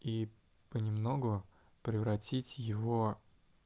и понемногу превратить его